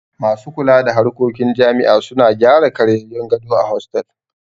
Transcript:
Masu kula da harkokin jami'a suna gyara ƙaryayyun gado a hostel